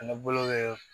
Ani bolo bɛ